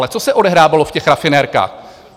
Ale co se odehrávalo v těch rafinerkách?